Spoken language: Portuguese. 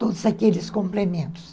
Todos aqueles complementos.